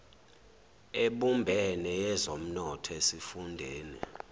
ebumbene yezomnotho esifundeni